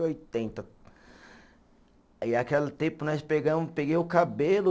E oitenta, e aquele tempo nós pegamos, peguei o cabelo